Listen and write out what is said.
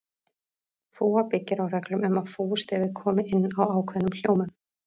Fúga byggir á reglum um að fúgustefið komi inn á ákveðnum hljómum.